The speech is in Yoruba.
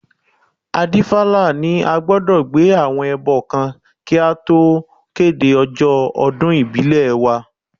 Adífálà ní a gbọdọ̀ gbé àwọn ẹbọ kan kí a tó kéde ọjọ́ ọdún ìbílẹ̀ wa